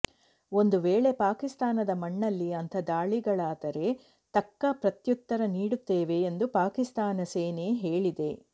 ಒಂದು ವೇಳೆ ಪಾಕಿಸ್ತಾನದ ಮಣ್ಣಲ್ಲಿ ಅಂಥ ದಾಳಿಗಳಾದರೆ ತಕ್ಕ ಪ್ರತ್ಯುತ್ತರ ನೀಡುತ್ತೇವೆ ಎಂದು ಪಾಕಿಸ್ತಾನ ಸೇನೆ ಹೇಳಿದೆ